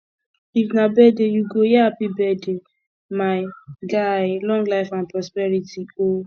if na birthday yu go hear hapi birthday my guy long life and prosperity o